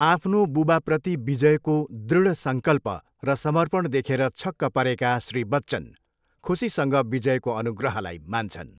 आफ्नो बुबाप्रति विजयको दृढ सङ्कल्प र समर्पण देखेर छक्क परेका, श्री बच्चन खुसीसँग विजयको अनुग्रहलाई मान्छन्।